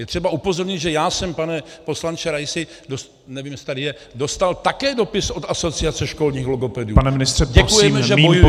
Je třeba upozornit, že já jsem, pane poslanče Raisi - nevím, jestli tady je - dostal také dopis od Asociace školních logopedů: děkujeme, že bojujete.